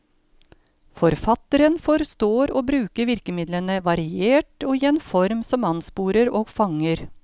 Forfatteren forstår å bruke virkemidlene variert og i en form som ansporer og fanger.